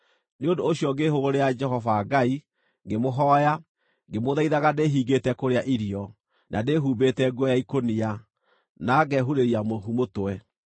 Nĩ ũndũ ũcio ngĩĩhũgũrĩra Jehova Ngai, ngĩmũhooya, ngĩmũthaithaga ndĩhingĩte kũrĩa irio, na ndĩhumbĩte nguo ya ikũnia, na ngehurĩria mũhu mũtwe.